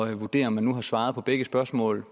at vurdere om man nu har svaret på begge spørgsmål